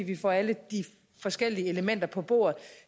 vi får alle de forskellige elementer på bordet